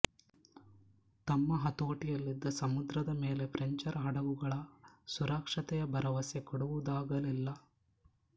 ತಮ್ಮ ಹತೋಟಿಯಲ್ಲಿದ್ದ ಸಮುದ್ರದ ಮೇಲೆ ಫ್ರೆಂಚರ ಹಡಗುಗಳ ಸುರಕ್ಷತೆಯ ಭರವಸೆ ಕೊಡುವುದಾಗಲಿಲ್ಲ